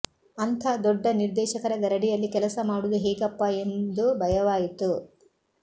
ಅಂಥ ದೊಡ್ಡ ನಿರ್ದೇಶಕರ ಗರಡಿಯಲ್ಲಿ ಕೆಲಸ ಮಾಡುವುದು ಹೇಗಪ್ಪ ಎಂದು ಭಯವಾಯಿತು